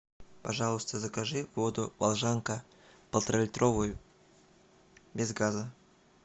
пожалуйста закажи воду волжанка полтора литровую без газа